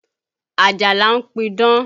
Ajala ń pidán